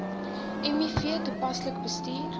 miv toepaslik bestuur